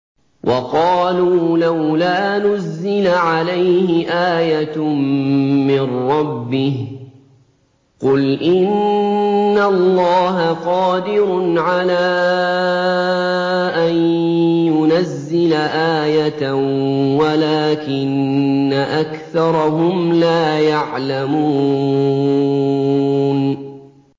وَقَالُوا لَوْلَا نُزِّلَ عَلَيْهِ آيَةٌ مِّن رَّبِّهِ ۚ قُلْ إِنَّ اللَّهَ قَادِرٌ عَلَىٰ أَن يُنَزِّلَ آيَةً وَلَٰكِنَّ أَكْثَرَهُمْ لَا يَعْلَمُونَ